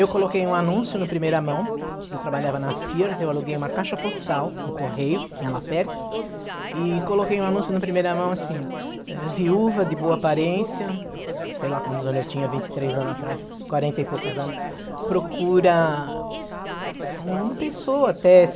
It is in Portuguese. Eu coloquei um anúncio no Primeira Mão, eu trabalhava na Sears, eu aluguei uma caixa postal no Correio, que tinha lá perto, e coloquei um anúncio no Primeira Mão assim, eh, viúva de boa aparência, sei lá quantos anos eu tinha, vinte e três anos atrás, quarenta e poucos anos, procura uma pessoa uma até